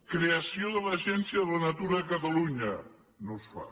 creació de l’agència de la natura de catalunya no es fa